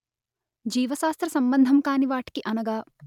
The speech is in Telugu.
జీవశాస్త్ర సంబంధం కానివాటికిఅనగా